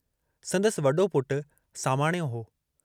संदसि वडो पुटु सामाणियो हो।